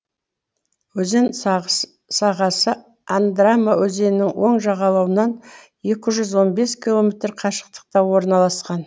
өзен сағасы андрама өзенінің оң жағалауынан екі жүз он бес километр қашықтықта орналасқан